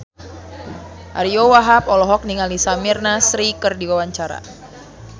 Ariyo Wahab olohok ningali Samir Nasri keur diwawancara